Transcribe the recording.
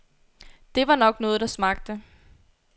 Det var nok noget, der smagte.